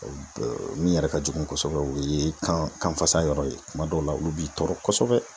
Min yɛrɛ ka jugu kosɛbɛ, o ye kanfasa yɔrɔ ye. Kuma dɔw la olu b'i tɔɔrɔ kosɛbɛ.